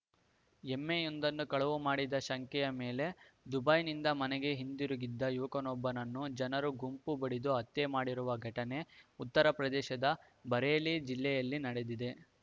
ಎಮ್ಮೆಯೊಂದನ್ನು ಕಳವು ಮಾಡಿದ ಶಂಕೆಯ ಮೇಲೆ ದುಬೈನಿಂದ ಮನೆಗೆ ಹಿಂದಿರುಗಿದ್ದ ಯುವಕನೊಬ್ಬನನ್ನು ಜನರು ಗುಂಪು ಬಡಿದು ಹತ್ಯೆ ಮಾಡಿರುವ ಘಟನೆ ಉತ್ತರ ಪ್ರದೇಶದ ಬರೇಲಿ ಜಿಲ್ಲೆಯಲ್ಲಿ ನಡೆದಿದೆ